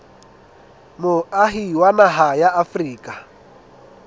moahi wa naha ya afrika